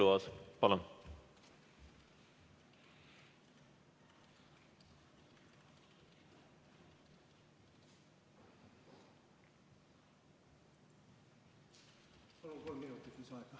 Henn Põlluaas, palun!